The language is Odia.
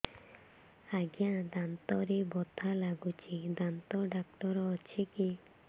ଆଜ୍ଞା ଦାନ୍ତରେ ବଥା ଲାଗୁଚି ଦାନ୍ତ ଡାକ୍ତର ଅଛି କି